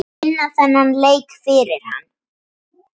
Vinna þennan leik fyrir hann!